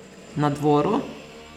Na dvoru?